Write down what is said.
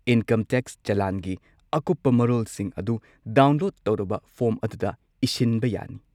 Income tax ꯆꯂꯥꯟꯒꯤ ꯑꯀꯨꯞꯄ ꯃꯔꯣꯜꯁꯤꯡ ꯑꯗꯨ ꯗꯥꯎꯟꯂꯣꯗ ꯇꯧꯔꯕ ꯐꯣꯔꯝ ꯑꯗꯨꯗ ꯏꯁꯤꯟꯕ ꯌꯥꯅꯤ꯫